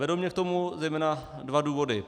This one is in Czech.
Vedou mě k tomu zejména dva důvody.